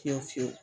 Fiyewu fiyewu